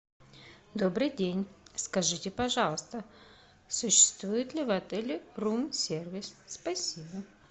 добрый день скажите пожалуйста существует ли в отеле рум сервис спасибо